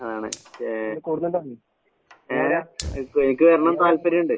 ആണ് ഏഹ് എ എനിക്ക് വരണന്ന് താൽപര്യോണ്ട്.